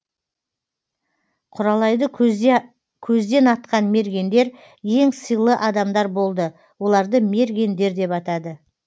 кұралайды көзден атқан мергендер ең сыйлы адамдар болды оларды мергендер деп атады